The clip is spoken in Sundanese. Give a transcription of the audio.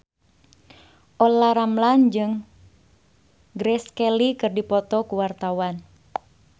Olla Ramlan jeung Grace Kelly keur dipoto ku wartawan